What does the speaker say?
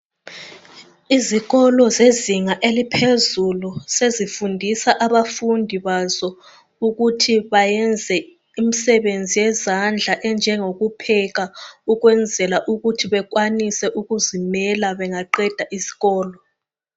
Izikolo zezinga eliphezulu sezifundisa abafundi bazo ukuthi bayenze imisebenzi yezandla enjengo kupheka ukwenzela ukuthi bekwanise ukuzimela bengaqeda isikolo.